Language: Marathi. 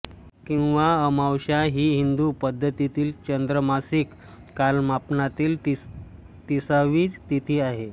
किंवा अमावस्या ही हिंदू पद्धतीतील चांद्रमासिक कालमापनातील तिसावी तिथी आहे